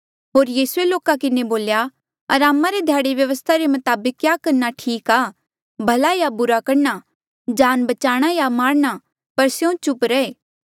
होर यीसूए लोका किन्हें बोल्या अरामा रे ध्याड़े व्यवस्था रे मताबक क्या करणा ठीक आ भला या बुरा करणा जान बचाणा या मारणा पर स्यों चुप रहे